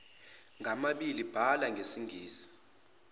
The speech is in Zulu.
ngamabili bhala ngesingisi